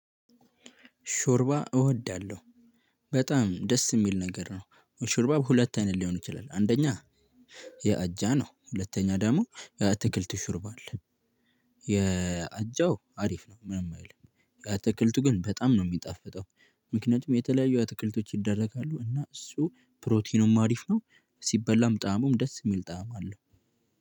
ሾርባ እወዳለሁ በጣም ደስ የሚል ነገር ነው። ሹርባ ሁለት አይነት ሊሆን ይችላል አንደኛ። የአጃ ነው ሁለተኛ ደግሞ የአትክልት ሾርባ አለ። የአጃው አሪፍ ነው ምንም አይልም። የአትክልቱ ግን በጣም ነው የሚጣፈጠው። ምክንያቱም የተለያየው አትክልቶች ይደረጋሉ እና እሱ ፕሮቲኑም አሪፍ ነው። ሲበላም ጣእሙም ደስ የሚል ጣዕም አለው።